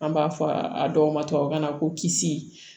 An b'a fɔ a dɔw ma tubabukan na ko kisi